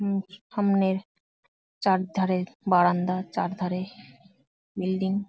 সামনে চার ধারে বারান্দা চারধারে বিল্ডিং ।